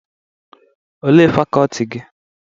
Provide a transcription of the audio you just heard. Olee fakọltị gị?